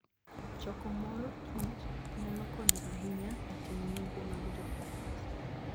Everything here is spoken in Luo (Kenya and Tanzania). Choko mor kich nyalo konyo ahinya e timo nonro mag josayans.